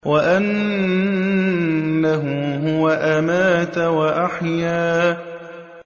وَأَنَّهُ هُوَ أَمَاتَ وَأَحْيَا